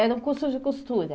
Era um curso de costura.